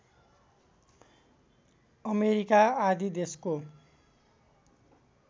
America आदि देशको